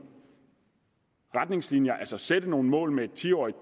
retningslinjer altså sætte nogle mål med et ti årig